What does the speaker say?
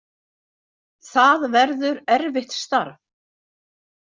Það verður erfitt starf.